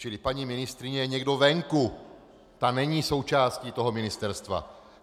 Čili paní ministryně je někdo venku, ta není součástí toho ministerstva!